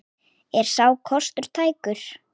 Er sá kostur tækur?